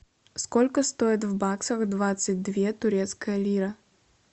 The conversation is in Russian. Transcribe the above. сколько стоит в баксах двадцать две турецкая лира